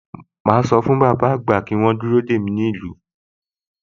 Màá sọ fún bàbá àgbà pé kí wọ́n dúró dè mí nílùú